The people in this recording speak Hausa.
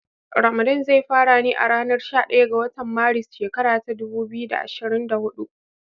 Ramadan zai fara ne a ranar shaɗaya ga watan Maris, shekara ta dubu biyu da ashrin da hudu.